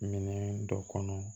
Minɛn dɔ kɔnɔ